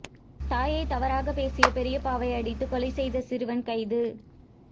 தாயை தவறாக பேசிய பெரியப்பாவை அடித்து கொலை செய்த சிறுவன் கைது